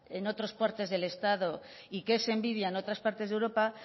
en otras partes del estado y que es envidia en otras partes de europa